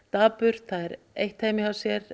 dapurt það er eitt heima hjá sér